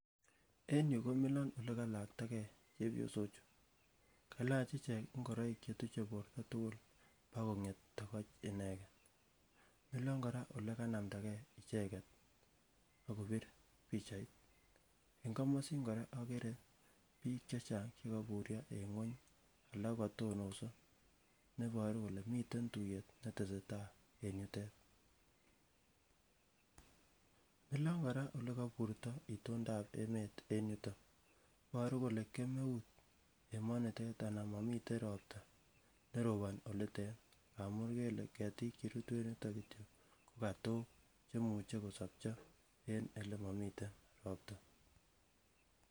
En yuu komilon ole kalakta gee chepyosok chuu kalach icheck ingoroik chetuche borto tukul ak konget tokoch ineken milon koraa olekanamda gee icheket ak kopir pichait. En komosin koraa okere bik chechang chekoburyo en ngueny alak kokotononso neboru kole miten tuyet netesetai en yutet, milon koraa ole koburto itondap emet en yuton iboruu kole kemeut emonitet anan momiten ropta neroboni olitet ngamun ikere ile ketik cherutu en yuton kityok ko katok cheimuche kosopcho en olemomiten ropta.